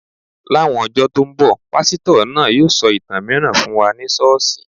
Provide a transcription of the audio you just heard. Láwọn ọjọ tó ń bọ̀, pásítọ̀ náà yóò sọ ìtàn mìíràn fún wa ní ṣọ́ọ̀ṣì